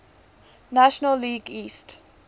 national league east